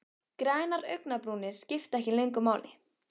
Grænar augnabrúnir skipta ekki lengur máli.